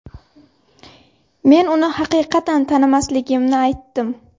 Men uni haqiqatan tanimasligimni aytdim.